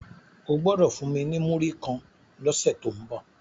O gbodo fún mí ní Muri kán lọ se to ńbo!